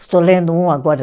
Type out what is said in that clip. Estou lendo um agora.